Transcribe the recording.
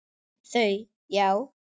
Þau: Já.